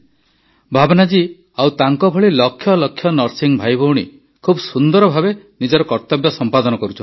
ଭାବନା ଜୀ ଆଉ ତାଙ୍କଭଳି ଲକ୍ଷ ଲକ୍ଷ ନର୍ସିଂ ଭାଇଭଉଣୀ ଖୁବ୍ ସୁନ୍ଦର ଭାବେ ନିଜ କର୍ତ୍ତବ୍ୟ ସମ୍ପାଦନ କରୁଛନ୍ତି